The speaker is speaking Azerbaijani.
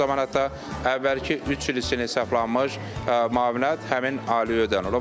Bu zaman hətta əvvəlki üç il üçün hesablanmış müavinət həmin ailəyə ödənilir.